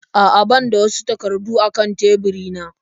A'a ban da wasu takardu a kan teburina.